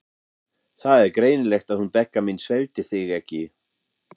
Það er greinilegt að hún Begga mín sveltir þig ekki.